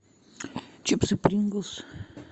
чипсы принглс